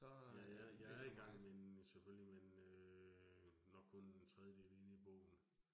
Jeg jeg jeg er i gang med den selvfølgelig, men øh nok kun en tredjedel inde i bogen